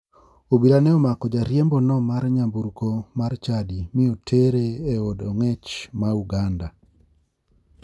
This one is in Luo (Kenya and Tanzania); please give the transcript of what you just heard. Obila ne omako jariembono mar nyamburko mar chadi mi otere e od ong'ech ma uganda.